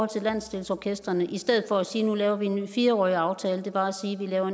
til landsdelsorkestrene i stedet for at sige at nu laver vi en ny fire årig aftale var at sige at vi laver